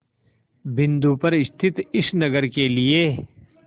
बिंदु पर स्थित इस नगर के लिए